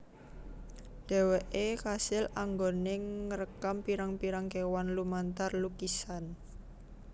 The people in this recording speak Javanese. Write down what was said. Dheweke kasil anggone ngrekam pirang pirang kewan lumantar lukisan